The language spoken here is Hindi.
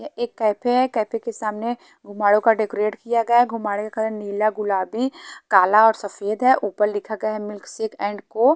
एक कैफ़े है कैफ़े के सामने घुमाड़े का डेकोरेट किया गया है घुमडेका नीला गुलाबी काला और सफ़ेद है ऊपर लिखा गया है मिल्क शेक एंड को --